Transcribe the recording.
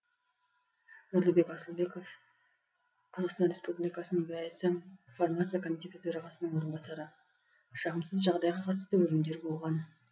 нұрлыбек асылбеков қазақстан республикасының дсм фармация комитеті төрағасының орынбасары жағымсыз жағдайға қатысты өлімдер болған